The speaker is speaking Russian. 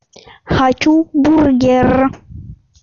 хочу бургер